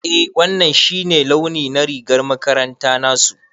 Eh wannan shi ne launi na rigar makaranta nasu.